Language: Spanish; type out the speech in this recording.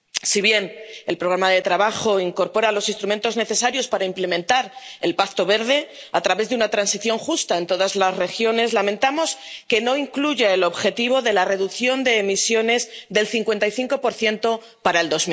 Si bien el programa de trabajo incorpora los instrumentos necesarios para implementar el Pacto Verde a través de una transición justa en todas las regiones, lamentamos que no incluya el objetivo de la reducción de emisiones del 55 para el